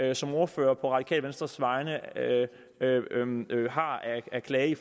jeg som ordfører på radikale venstres vegne har af klage i